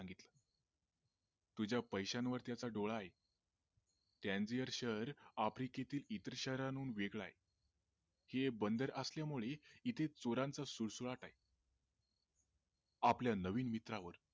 तुझ्या पैशांवर त्याचा डोळा आहे कंडिअड शहर आफ्रिकेतील इतर शाहरांहून वेगळ आहे हे बंदर असल्यामुळे इथे चोरांचा सुळसुळाट आहे आपल्या नवीन मित्रावर